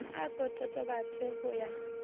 a ko totobatse ho ya